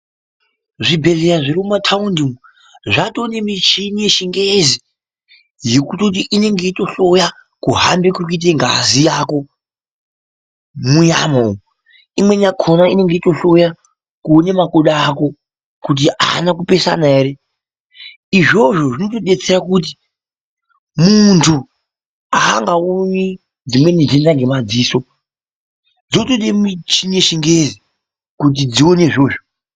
Zvibhedhlera zvirimumataundi umo zvatonemichini yechingezi yekutoti inenge yeitohloya kuhambe kurikuite ngazi yako munyama umu, imweni yakona inenge yeitohloya kuone makodo ako kuti aana kupesana ere izvozvo zvinotidetsera kuti muntu aangaoni dzimweni ndenda ngemadziso dzinotode michini yechingezi kuti dzikone izvozvo.